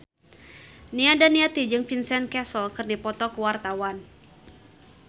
Nia Daniati jeung Vincent Cassel keur dipoto ku wartawan